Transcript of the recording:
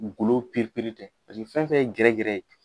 Golo tɛ pasiki fɛn fɛn ye gɛrɛ gɛrɛ ye